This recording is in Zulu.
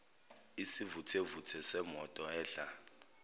isivuthevuthe semoto edla